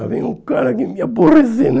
Já vem um cara aqui me aborrecer, né?